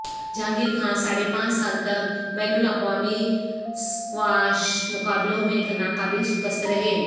جہانگیرخان ساڑھے پانچ سال تک بین الاقوامی سکواش مقابلوں میں ناقابل شکست رہے